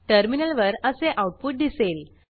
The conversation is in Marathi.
टर्मिनलवर असे आऊटपुट दिसेल